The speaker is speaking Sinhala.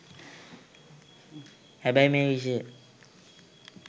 හැබැයි මේ විෂය